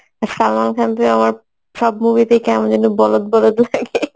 আর সালমান খানকে আমার সব movie তে কেমন যেন বলধ বলধ লাগে